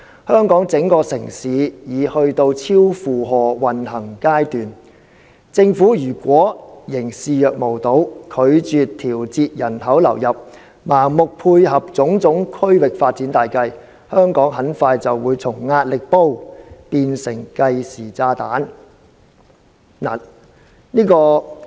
香港整個城市已去到超負荷運行階段，政府如果仍視若無睹，拒絕調節人口流入，盲目配合種種區域發展大計，香港很快就會從壓力煲變成計時炸彈。